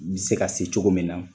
I bi se ka se cogo min na